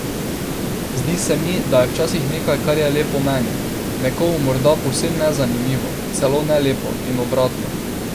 Zdi se mi, da je včasih nekaj, kar je lepo meni, nekomu morda povsem nezanimivo, celo ne lepo, in obratno.